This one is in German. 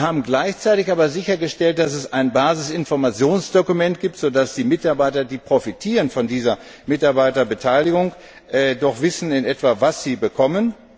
Wir haben gleichzeitig aber sichergestellt, dass es ein Basisinformationsdokument gibt, so dass die Mitarbeiter, die von dieser Mitarbeiterbeteiligung profitieren, in etwa wissen, was sie bekommen.